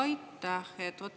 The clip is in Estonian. Aitäh!